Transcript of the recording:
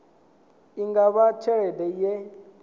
i nga vha tshelede ye